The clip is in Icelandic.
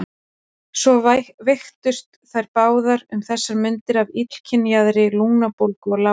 Svo veiktust þær báðar um þessar mundir af illkynjaðri lungnabólgu og lágu lengi.